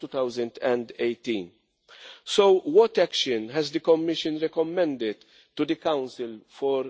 2018. So, what action has the Commission recommended to the Council for